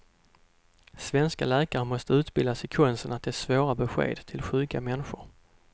Svenska läkare måste utbildas i konsten att ge svåra besked till sjuka människor.